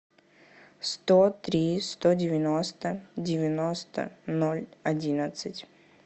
сто три сто девяносто девяносто ноль одиннадцать